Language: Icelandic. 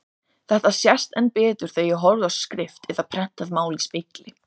Þetta sést enn betur þegar ég horfi á skrift eða prentað mál í spegli.